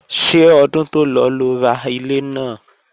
Ṣé ọdún tó lọ lo ra ilé náà?